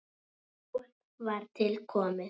Mál var til komið.